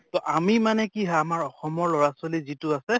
তʼ আমি মানে কি হয় আমাৰ অসমৰ লʼৰা ছোৱালী যিটো আছে